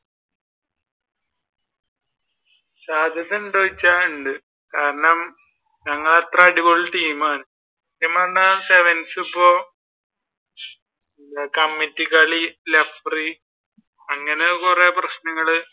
സാധ്യത ഉണ്ടോ എന്ന് ചോദിച്ച ഉണ്ട് കാരണം ഞങ്ങൾ അത്ര അടിപൊളി ടീമാണ്. sevens ഇപ്പൊ കമ്മറ്റിക്കാർ അങ്ങനെ കുറെ പ്രശ്നങ്ങൾ